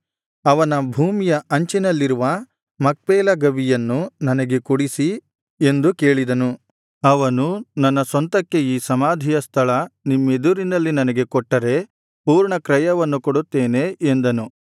ಅವನ ಭೂಮಿಯ ಅಂಚಿನಲ್ಲಿರುವ ಮಕ್ಪೇಲ ಗವಿಯನ್ನು ನನಗೆ ಕೊಡಿಸಿ ಎಂದು ಕೇಳಿದನು ಅವನು ನನ್ನ ಸ್ವಂತಕ್ಕೆ ಈ ಸಮಾಧಿಯ ಸ್ಥಳ ನಿಮ್ಮೆದುರಿನಲ್ಲಿ ನನಗೆ ಕೊಟ್ಟರೆ ಪೂರ್ಣ ಕ್ರಯವನ್ನು ಕೊಡುತ್ತೇನೆ ಎಂದನು